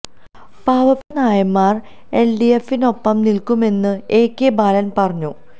പാവപ്പെട്ട നായന്മാര് എല് ഡി എഫിനൊപ്പം നില്ക്കുമെന്നും എ കെ ബാലന് പറഞ്ഞു